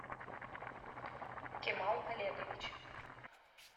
кемал олегович